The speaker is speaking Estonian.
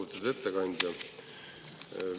Lugupeetud ettekandja!